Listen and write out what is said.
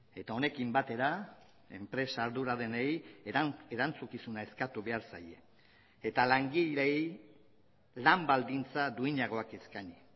eta honekin batera enpresa arduradunei erantzukizuna eskatu behar zaie eta langileei lan baldintza duinagoak eskaini